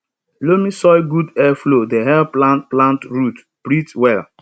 loamy soil good air flow dey help plant plant root breathe well